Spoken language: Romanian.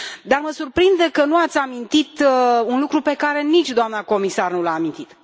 Dar mă surprinde că nu ați amintit un lucru pe care nici doamna comisar nu l a amintit.